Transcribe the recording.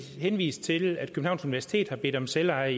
henvist til at københavns universitet har bedt om selveje